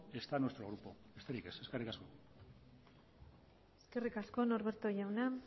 está en nuestro grupo besterik ez eskerrik asko eskerrik asko norberto jauna